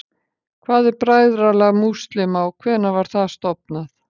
Hvað er Bræðralag múslíma og hvenær var það stofnað?